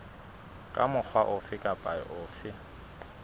ka mokgwa ofe kapa ofe